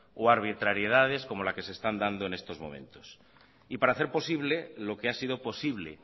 o arbitrariedades como la que se están dando en estos momentos para hacer posible lo que ha sido posible